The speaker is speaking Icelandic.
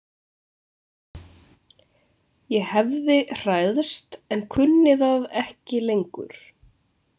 Ég hefði hræðst en kunni það ekki lengur.